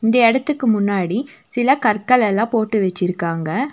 இந்த எடத்துக்கு முன்னாடி சில கற்கல்லெல்லா போட்டு வெச்சுருக்காங்க.